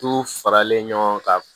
Tu faralen ɲɔgɔn kan